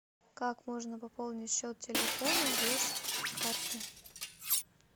как можно пополнить счет телефона без карты